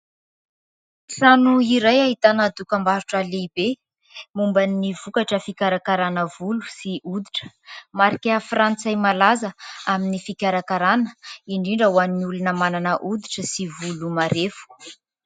Trano iray ahitana dokambarotra lehibe momba ny vokatra fikarakarana volo sy hoditra, marika frantsay malaza amin'ny fikarakarana indrindra ho any olona manana hoditra sy volo marefo.